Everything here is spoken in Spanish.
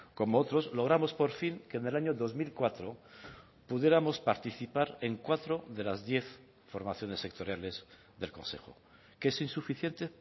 como otros logramos por fin que en el año dos mil cuatro pudiéramos participar en cuatro de las diez formaciones sectoriales del consejo que es insuficiente